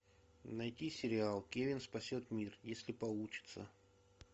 найти сериал кевин спасет мир если получится